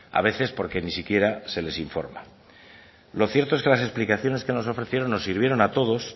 a veces porque ni siquiera se les informa lo cierto es que las explicaciones que nos ofrecieron nos sirvieron a todos